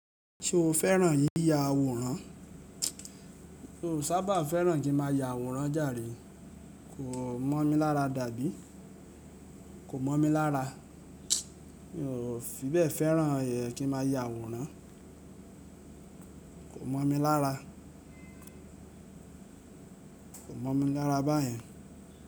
Ṣo fẹ́ràn yíya àwòrán? Mi o sábà fẹ́ràn kí n má a ya àwòrán jàre. Ko mọ̀ mi lára dàbí. Ko mọ̀ mi lára. Mi ò fi bẹ́ẹ̀ fẹ́ràn ẹẹ kí n má a ya àwòrán. Ko mọ̀ mi lára. Ko mọ̀ mi lára báyẹn.